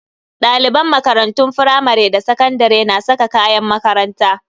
Daliban makarantun firamare da sakandare na saka kayan makaranta.